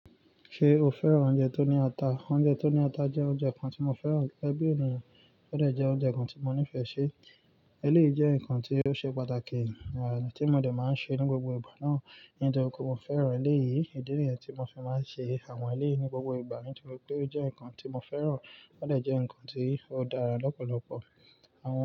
Ṣé o fẹ́ràn oúnjẹ tó ní ata? Oúnjẹ tó ní ata jẹ́ oúnjẹ kan tí mo fẹ́ràn gẹ́gẹ́ bi ènìyàn, ó dẹ jẹ́ oúnjẹ kan tí mo nífẹ̀ẹ́ si. Eléyìí jẹ́ nǹkan tí ó ṣe pàtàkì, tí mo dẹ̀ máa ń ṣe ní gbogbo ìgbà náà, nítorí pé mo fẹ́ràn eléyìí. Ìdí nìyẹn tí mo fi máa ń ṣe àwọn eléyìí ní gbogbo ìgbà, nítorí pé ó jẹ́ nǹkan tí mo fẹ́ràn, ó dẹ jẹ́ nǹkan tí ó dára lọ́pọ̀lọpọ̀. Awọ.